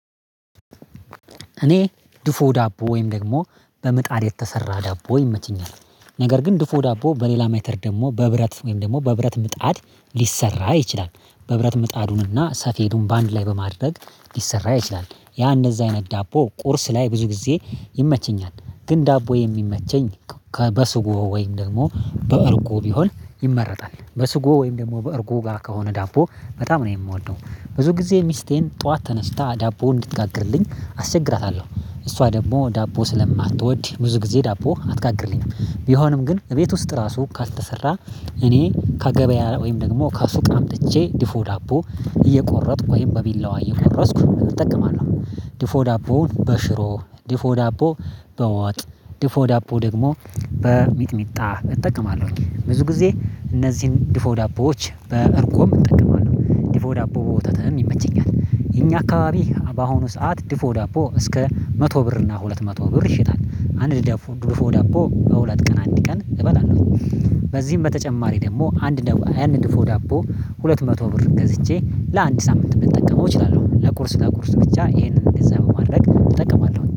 እኔ ድፎ ዳቦ ወይም ደግሞ በምጣድ የተሰራ ዳቦ ይመቸኛል። ነገር ግን ድፎ ዳቦ በሌላ ሜትድ ደግሞ በብረት ወይም ደግሞ በብረት ምጣድ ሊሰራ ይችላል። በብረት ምጣዱንና ሰፌዱን በአንድ ላይ በማድረግ ሊሰራ ይችላል ያ እንደዚህ አይነት ዳቦ ቁርስ ላይ ብዙ ጊዜ ይመቸኛል። ግን ዳቦ የሚመቸኝ ከበስጎ ወይም ደግሞ በእርጎ ቢሆን ይመረጣል በስጎ ወይም ደግሞ በእርጎ ጋር ከሆነ ዳቦ በጣም ነው የምወደው። ብዙ ጊዜ ሚስቴን ጠዋት ተነስታ ዳቦ እንድትጋግርልኝ አስቸግራታለሁ። እሷ ደግሞ ዳቦ ስለማትወድ ብዙ ጊዜ ዳቦ አትጋግርልኝም። ቢሆንም ግን እቤት ውስጥ ራሱ ካልተሰራ እኔ ከገበያ ወይም ደግሞ ከሱቅ አምጥቼ ድፎ ዳቦ እየቆረጥኩ ወይም በቢላዋ እየቆረስኩ እጠቀማለሁ። ድፎ ዳቦውን በሽሮ ድፎ ዳቦ በመጥ ድፎ ዳቦ ደግሞ በሚጥሚጣ እጠቀማለሁኝ። ብዙ ጊዜ እነዚህን ድፎ ዳቦዎች በእርጎም እጠቀማለሁ ድፎ ዳቦ በወተተም ይመቸኛል። የኛ አካባቢ በአሁኑ ሰዓት ድፎ ዳቦ እስከ መቶ ብር እና ሁለት መቶ ብር ይሽታል። አንድ ድፎ ዳቦ በሁለት ቀን አንድ ቀን እበላለሁ። በዚህም በተጨማሪ ደግሞ አንድ ዳቦ አንድ ድፎ ዳቦ ሁለት መቶ ብር ገዝቼ ለአንድ ሳምንት ልጠቀመው እችላለሁ። ለቁርስ ለቁርስ ብቻ ይሄንን ገንዘብ ማድረግ እጠቀማለሁ